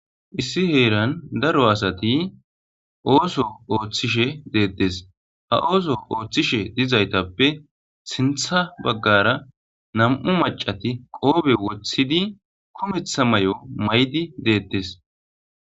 Issi heeran daro asati ooso ooththishe deettes ha ooso ooththishe dizaytappe sintha baggara nam7u macati qoobe woththidi kumetha may7o may7di deettes.